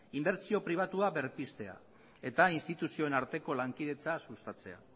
inbertsio pribatua berpiztea eta instituzioen arteko lankidetza sustatzea